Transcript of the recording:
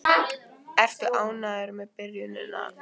Ertu ánægður með byrjunina?